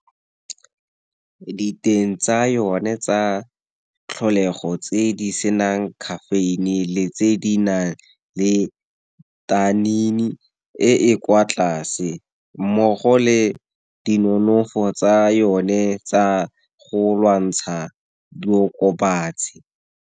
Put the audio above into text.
Diteng tsa yone tsa tlholego, tse di senang caffein-e le tse di nang le e e kwa tlase, mmogo le di nonofo tsa yone tsa go lwantsha diokobatsi.